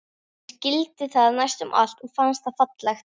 Ég skildi það næstum allt og fannst það fallegt.